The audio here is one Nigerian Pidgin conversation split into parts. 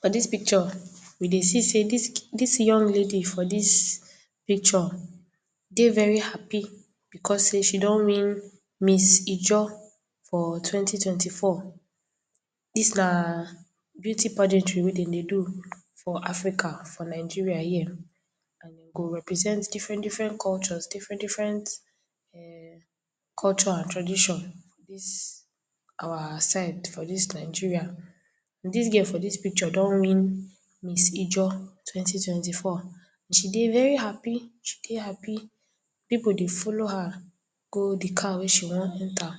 For dis picture we dey see sey dis young lady for dis picture dey very happi because sey she don win Miss Ijaw for twenty, twenty-four. Dis na beauty pageantry wey dey dey do for Africa for Nigeria here. And e go represent different-different cultures, different-different[um]culture and tradition. Dis our side for dis Nigeria, dis girl for dis picture don win Miss Ijaw twenty, twenty-four. She dey very happi, she dey happi. Pipu dey follow her go de car wey she wan enter.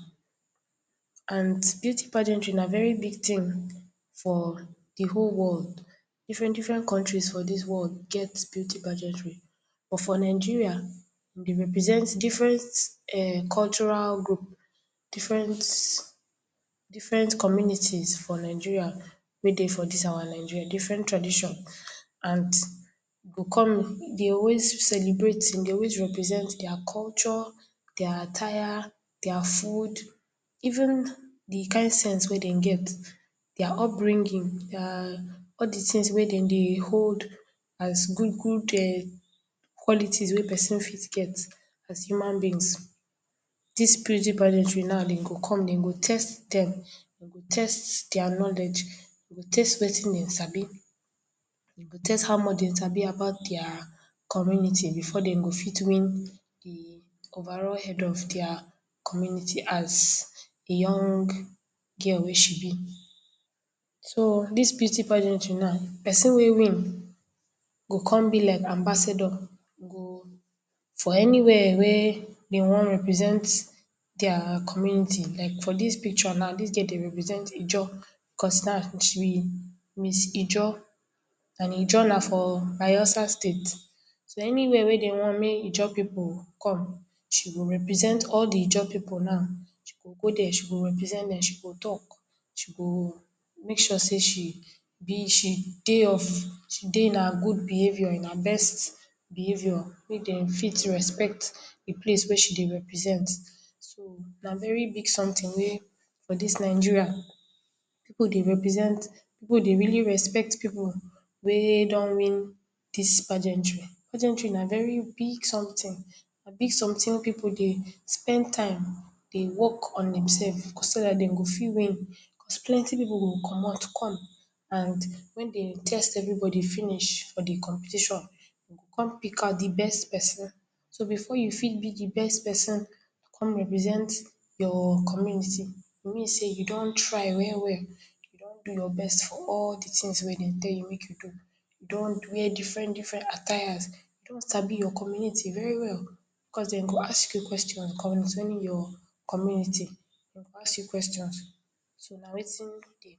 And beauty pageantry na very big thing for de whole world. Different-different countries for dis world get beauty pageantry but for Nigeria, e dey represent different[um]cultural group, different, different communities for Nigeria wey dey for dis our Nigeria, different traditions. And e come, e dey always celebrate, e dey always represent their culture, their attire, their food even de kind sense wey dem get. Their upbringing, their all de things wey dem dey hold as good-good[um]qualities wey pesin fit get as human beings. Dis beauty pageantry now go come, dem go test dem, dem go test their knowledge, dem go test wetin dem sabi, dem go test how much dem sabi about their community before dem go fit win de overall head of their community as young girl wey she be. So, dis beauty pageantry now, pesin wey win go come be like ambassador, for anywhere wey dem wan represent their community. Like for dis picture now dis girl dey represent Ijaw, because now she be Miss Ijaw and Ijaw na for Bayelsa state. So, anywhere wey dem want make Ijaw pipu come, she go represent all de Ijaw pipu now, she go there, she go represent dem, she go talk, she go make sure sey she be, she dey of she dey of in her good behavior in her best behavior. Make dem fit respect de place wey she dey represent. So, na very big something wey for dis Nigeria pipu dey represent, pipu dey really respect pipu wey don win dis pageantry. Pageantry na very big something, na big something wey pipu dey spend time, dey work on dem self because so dat dem go fit win. Because plenty pipu go commot come and wen dem test everybody finish for de competition, dem go come pick out de best pesin. So, before you fit be de best pesin, to come represent your community. E mean sey you don try well-well. You don do your best for all de things wey dem tell you make you do. You don wear different-different attires, you don sabi your community very well because dem go ask you questions concerning your community, dem go ask you questions. So, na wetin dey.